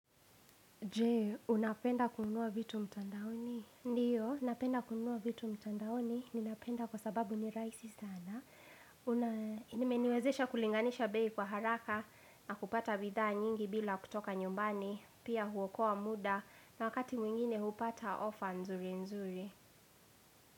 Je, unapenda kunua vitu mtandaoni? Ndiyo, unapenda kunua vitu mtandaoni. Ninapenda kwa sababu ni rahisi sana. Na imeniwezesha kulinganisha bei kwa haraka na kupata bidhaa nyingi bila kutoka nyumbani. Pia huokoa muda na wakati mwingine hupata ofa nzuri nzuri.